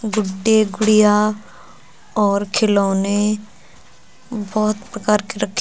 गुड्डे गुड़िया और खिलौने बहुत प्रकार के रखे --